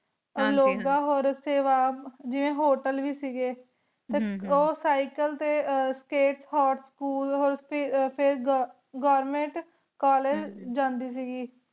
T ਲੋਗ ਦਾ ਸੇਵਾ ਜੇਵੀ ਹੋਟਲ ਵੇ ਸੀਗੀ ਟੀ ਓਹ ਕ੍ਯ੍ਕ੍ਲੇ ਟੀ ਸ੍ਕਾਪ ਹੋਤ ਸਕੂਲ ਗੋਵੇਰ੍ਨ੍ਮੇੰਟ ਕੋਲ੍ਲੇਗੇ ਜਾਂਦੀ ਸੀਗੀ